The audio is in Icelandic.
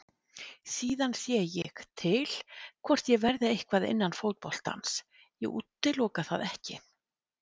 Síðan sé ég til hvort ég verði eitthvað innan fótboltans, ég útiloka það ekkert.